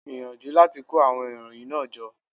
Gbìyànjú láti kó àwon ìròyìn náà jọ